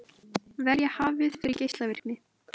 Verja hafið fyrir geislavirkni